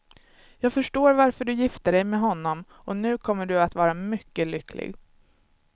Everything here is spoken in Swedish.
Jag förstår varför du gifte dig med honom, och nu kommer du att vara mycket lycklig.